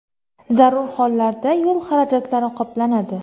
Zarur hollarda yo‘l xarajatlari qoplanadi.